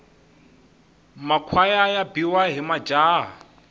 makhwaya ya biwa hi majaha